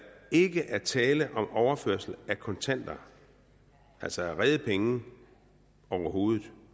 ikke er tale om overførsel af kontanter altså af rede penge overhovedet